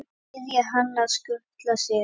Biðja hann að skutla sér?